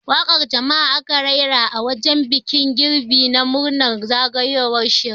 Waƙar jam'a aka rera a wajen bikin girbi na murnar zagayowar shekara.